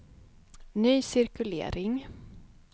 ny cirkulering